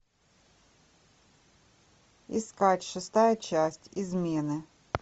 искать шестая часть измены